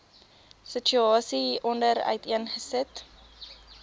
situasie hieronder uiteengesit